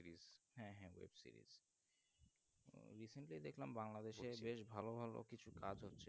Recently দেখলাম bangladesh এ বেশ ভালো ভালো কৃষি কাজ হচ্ছে